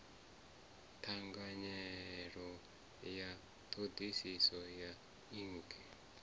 ṱhanganelano ya ṱhoḓisiso ya ik